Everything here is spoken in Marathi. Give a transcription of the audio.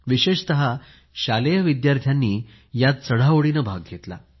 विशेषतः शालेय विद्यार्थ्यांनी यात चढाओढीने भाग घेतला